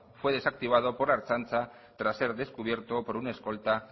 fue desactivado por la ertzantza tras ser descubierto por un escolta